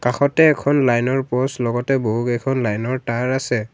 কাষতে এখন লাইনৰ প'ষ্ট লগতে বহুকেইখন লাইনৰ তাঁৰ আছে।